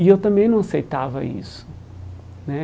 E eu também não aceitava isso né.